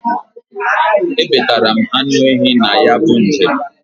E betara m anụ ehi na ya bu njem.